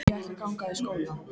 Ég ætla að ganga í skóla.